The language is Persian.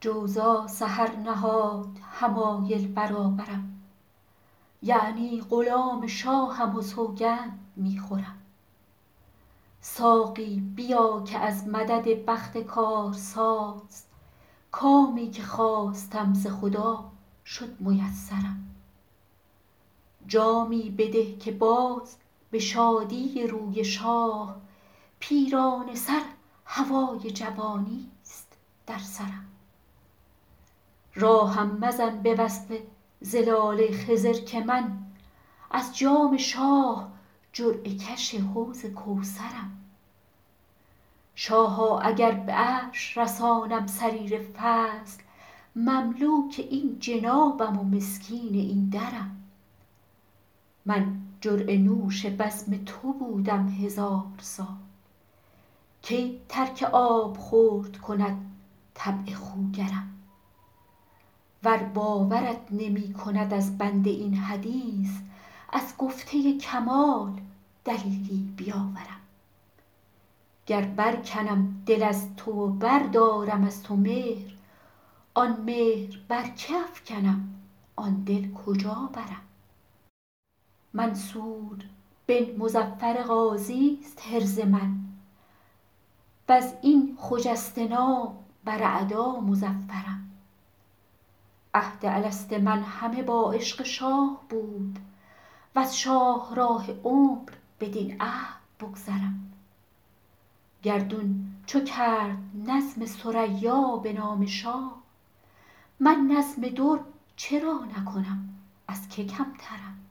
جوزا سحر نهاد حمایل برابرم یعنی غلام شاهم و سوگند می خورم ساقی بیا که از مدد بخت کارساز کامی که خواستم ز خدا شد میسرم جامی بده که باز به شادی روی شاه پیرانه سر هوای جوانیست در سرم راهم مزن به وصف زلال خضر که من از جام شاه جرعه کش حوض کوثرم شاها اگر به عرش رسانم سریر فضل مملوک این جنابم و مسکین این درم من جرعه نوش بزم تو بودم هزار سال کی ترک آبخورد کند طبع خوگرم ور باورت نمی کند از بنده این حدیث از گفته کمال دلیلی بیاورم گر برکنم دل از تو و بردارم از تو مهر آن مهر بر که افکنم آن دل کجا برم منصور بن مظفر غازیست حرز من و از این خجسته نام بر اعدا مظفرم عهد الست من همه با عشق شاه بود وز شاهراه عمر بدین عهد بگذرم گردون چو کرد نظم ثریا به نام شاه من نظم در چرا نکنم از که کمترم